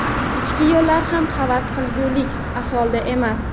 Ichki yo‘llar ham havas qilgulik ahvolda emas.